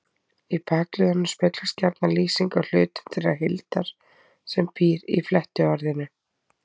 Í bakliðnum speglast gjarna lýsing á hlutum þeirrar heildar sem býr í flettiorðinu.